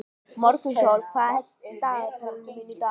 Morgunsól, hvað er á dagatalinu mínu í dag?